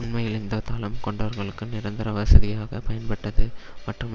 உண்மையில் இந்த தளம் கொண்டர்களுக்கு நிரந்தர வசதியாகப் பயன்பட்டது மற்றும்